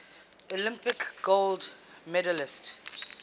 olympic gold medalists